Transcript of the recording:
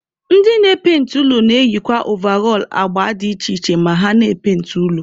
Ndị na-epainti ụlọ na-eyikwa ovarọl agba dị iche iche ma ha na-epainti ụlọ.